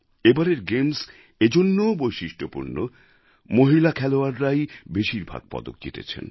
এবারের গেমস এজন্যও বৈশিষ্ট্যপূর্ণ মহিলা খেলোয়াড় রাই বেশির ভাগ পদক জিতেছেন